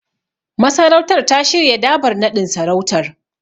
Masarautar ta shirya Dabar naɗin sarautar.